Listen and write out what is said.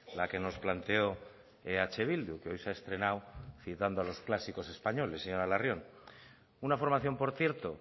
la que nos planteó eh bildu que hoy se ha estrenado citando a los clásicos españoles señora larrion una formación por cierto